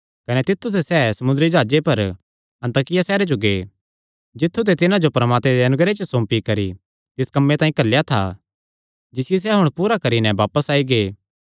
कने तित्थु ते सैह़ समुंदरी जाह्जे पर अन्ताकिया सैहरे जो गै जित्थु ते तिन्हां जो परमात्मे दे अनुग्रह च सौंपी करी तिस कम्मे तांई घल्लेया था जिसियो सैह़ हुण पूरा करी नैं बापस आई गै